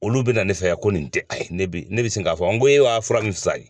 Olu bɛ na ne fɛ yan ko nin tɛ a ye, ne bɛ sin k'a fɔ n ko e wa fura min fila ninbye